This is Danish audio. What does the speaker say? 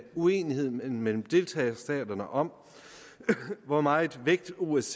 uenighed mellem deltagerstaterne om hvor meget vægt osce